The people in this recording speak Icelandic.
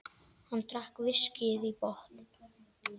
Hann drakk viskíið í botn.